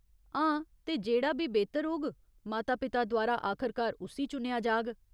हां, ते जेह्ड़ा बी बेह्तर होग, माता पिता द्वारा आखरकार उस्सी चुनेआ जाग।